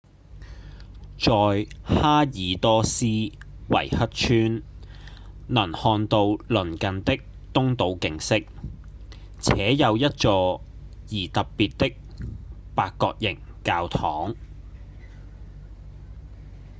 在哈爾多斯維克村能看到鄰近的東島景色且有一座而特別的八角形教堂